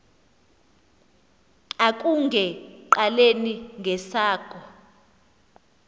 akunge qaleli ngesakho